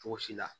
Cogo si la